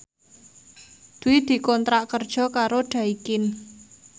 Dwi dikontrak kerja karo Daikin